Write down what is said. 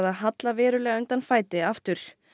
að halla verulega undan fæti aftur